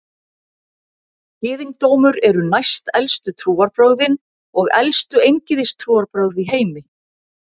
Gyðingdómur eru næstelstu trúarbrögðin og elstu eingyðistrúarbrögð í heimi.